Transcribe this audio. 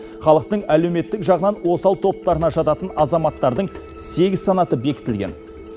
халықтың әлеуметтік жағынан осал топтарына жататын азаматтардың сегіз санаты бекітілген